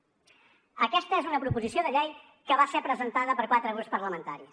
aquesta és una proposició de llei que va ser presentada per quatre grups parlamentaris